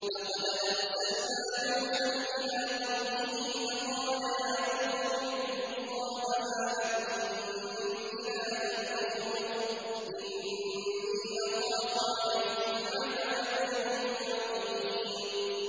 لَقَدْ أَرْسَلْنَا نُوحًا إِلَىٰ قَوْمِهِ فَقَالَ يَا قَوْمِ اعْبُدُوا اللَّهَ مَا لَكُم مِّنْ إِلَٰهٍ غَيْرُهُ إِنِّي أَخَافُ عَلَيْكُمْ عَذَابَ يَوْمٍ عَظِيمٍ